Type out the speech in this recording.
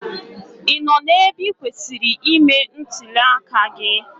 Ị nọ n'ebe ị kwesịrị ime ntụli aka gị?